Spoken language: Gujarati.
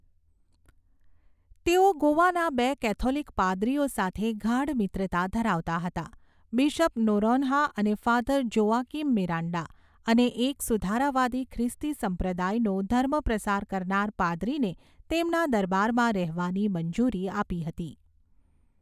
તેઓ ગોવાના બે કેથોલિક પાદરીઓ સાથે ગાઢ મિત્રતા ધરાવતા હતા, બિશપ નોરોન્હા અને ફાધર જોઆકિમ મિરાન્ડા, અને એક સુધારાવાદી ખ્રિસ્તી સંપ્રદાયનો ધર્મપ્રસાર કરનાર પાદરીને તેમના દરબારમાં રહેવાની મંજૂરી આપી હતી.